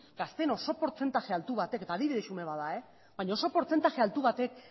gazteen oso portzentaje altu batek eta adibide xume bat da baina oso portzentaje altu batek